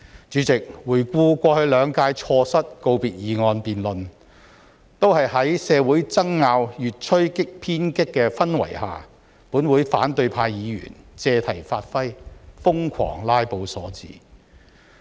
主席，回顧過去兩屆立法會錯失告別議案辯論，都是在社會爭拗越趨偏激的氛圍下，本會反對派議員借題發揮、瘋狂"拉布"所致。